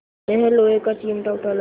यह लोहे का चिमटा उठा लाया